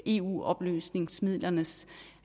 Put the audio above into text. eu oplysningsmidlernes